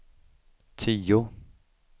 tio